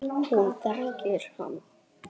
Hún þekkir hann.